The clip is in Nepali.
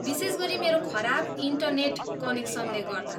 विशेष गरी मेरो खराब इन्टनेट कनेक्सनले गर्दा।